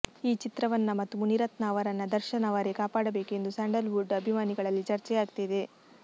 ಈ ಚಿತ್ರವನ್ನ ಮತ್ತು ಮುನಿರತ್ನ ಅವರನ್ನ ದರ್ಶನ್ ಅವರೇ ಕಾಪಾಡಬೇಕು ಎಂದು ಸ್ಯಾಂಡಲ್ ವುಡ್ ಅಭಿಮಾನಿಗಳಲ್ಲಿ ಚರ್ಚೆಯಾಗ್ತಿದೆ